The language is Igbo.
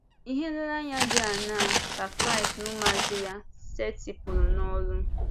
Ihe nlereanya dị áńaa ka Kraịst na ụmụazụ ya setịpụrụ n’ọ́rụ?